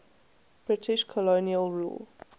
british colonial rule